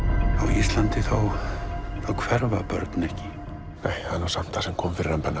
Íslandi þá hverfa börn ekki það er nú samt það sem kom fyrir hann Benna